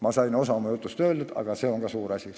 Ma sain osa oma jutust räägitud, see on ka suur asi.